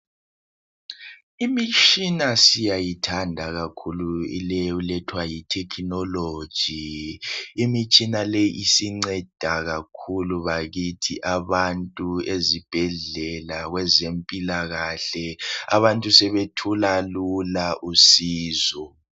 Imitshina siyayithanda kakhulu leyi elethwa yithekhinoloji. Imitshina leyi isinceda kakhulu bakithi abantu ezibhedlela kwezempilakahle abantu sebethola lula usizo.